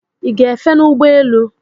I gá-efe n'ụgbọ elu?